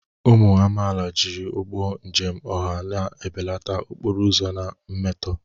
Ụmụ amaala, jiri ụgbọ njem ọha na-ebelata okporo ụzọ na mmetọ.